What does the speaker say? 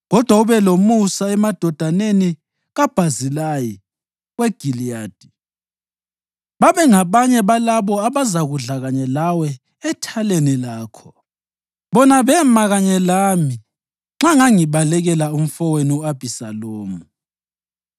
Kodwa ube lomusa emadodaneni kaBhazilayi weGiliyadi babengabanye balabo abazakudla kanye lawe ethaleni lakho. Bona bema kanye lami nxa ngangibalekela umfowenu u-Abhisalomu.